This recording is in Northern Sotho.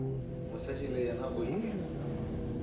mosadi le yena o ile